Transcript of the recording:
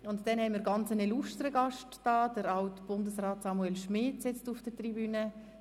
Zum anderen sitzt mit AltBundesrat Samuel Schmid ein sehr illustrer Gast auf der Tribüne.